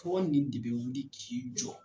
Fɔ nin de b'i wuli k'i jɔ.